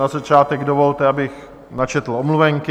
Na začátek dovolte, abych načetl omluvenky.